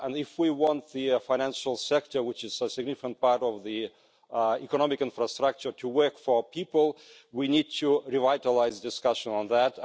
if we want the financial sector which is a significant part of the economic infrastructure to work for people, we need to revitalise discussion on that.